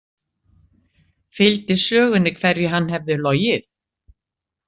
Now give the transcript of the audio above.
Fylgdi sögunni hverju hann hefði logið?